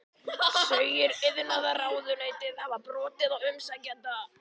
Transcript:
Segir iðnaðarráðuneytið hafa brotið á umsækjanda